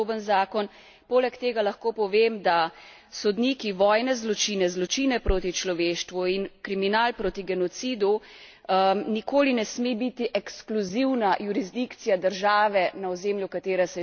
Poleg tega lahko povem, da sodniki, vojne zločine, zločine proti človeštvu in kriminal proti genocidu nikoli ne sme biti ekskluzivna jurisdikcija države, na ozemlju katere se je zločin dogodil.